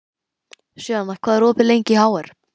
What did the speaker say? Sjana, hvað er opið lengi í HR?